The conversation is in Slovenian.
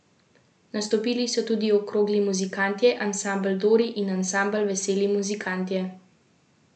Nastopili so tudi Okrogli muzikantje, ansambel Dori in ansambel Veseli muzikantje.